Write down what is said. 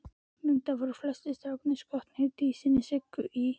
Reyndar voru flestir strákanna skotnir í dísinni Siggu í